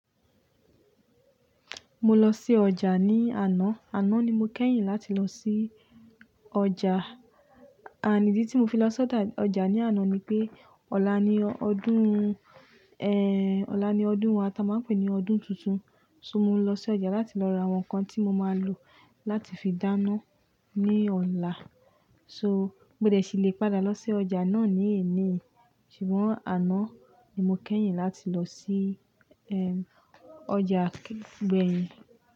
Mo lọ sí ọjà ní àná, àná ni mo kẹ́yìn láti lọ sí ọjà. And ídí tí mo fi lọ sọ́jà ọjà ní àná ni pé, ọ̀la ni ọdún, ẹ́, ọ̀la ni ọdún wa tí a máa ń pè ní ọdún tuntun. So mo lọ sí ọjà láti lọ ra àwọn nǹkan tí mo máa lò láti fi dáná ní ọ̀la. So, mọ́de ṣì lè padà lọ sí ọjà náà ní èní, ṣùgbọ́n àná ni mo kẹ́yìn láti lọ sí, ẹm, ọjà beni.